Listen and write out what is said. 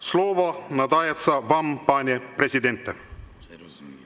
Slovo nadajetsja vam, pane prezidente!